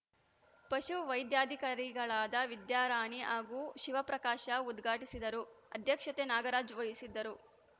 ಪಶು ವೈದ್ಯಾಧಿಕಾರಿಗಳಾದ ವಿದ್ಯಾರಾಣಿ ಹಾಗೂ ಶಿವಪ್ರಕಾಶ ಉದ್ಘಾಟಿಸಿದರು ಅಧ್ಯಕ್ಷತೆ ನಾಗರಾಜ್‌ ವಹಿಸಿದ್ದರು